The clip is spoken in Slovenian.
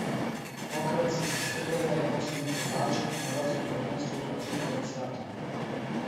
Tokrat so se strgale, ko sem jih oblačil, na evropskem prvenstvu pa tik pred startom.